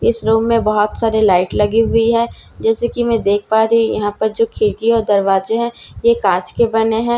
इस रूम में बहोत सारे लाइट लगी हुई हैं जैसे की मैं देख पा रही यहां पर जो खिड़की और दरवाजे हैं ये कांच के बने हैं।